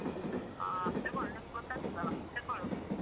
ಹ, ತೆಗೊಳ್ಳು. ನಿಮ್ಗ್ ಗೊತ್ತಾಗ್ತದಲ್ಲಾ? ತೆಕ್ಕೊಳ್ಳು.